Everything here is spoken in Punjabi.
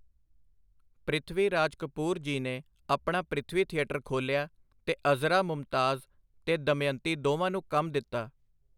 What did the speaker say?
ਪ੍ਰਿਥਵੀ ਰਾਜ ਕਪੂਰ ਜੀ ਨੇ ਆਪਣਾ ਪ੍ਰਿਥਵੀ-ਥੀਏਟਰ ਖੋਲ੍ਹਿਆ, ਤੇ ਅਜ਼ਰਾ ਮੁਮਤਾਜ਼ ਤੇ ਦਮਯੰਤੀ ਦੋਵਾਂ ਨੂੰ ਕੰਮ ਦਿੱਤਾ.